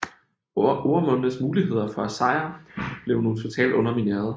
Ormondes muligheder for at sejre blev nu totalt undermineret